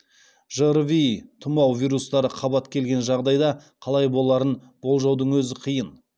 жрви тұмау вирустары қабат келген жағдайда қалай боларын болжаудың өзі қиын